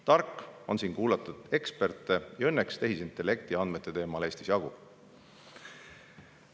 Tark on siin kuulata eksperte, keda tehisintellekti andmete valdkonnas Eestis õnneks jagub.